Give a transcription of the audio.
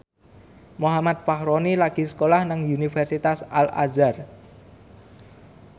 Muhammad Fachroni lagi sekolah nang Universitas Al Azhar